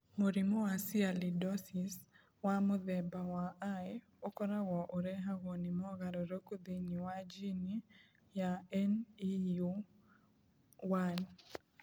Mũrimũ wa Sialidosis wa mũthemba wa I ũkoragwo ũrehagwo nĩ mogarũrũku thĩinĩ wa jini ya NEU1.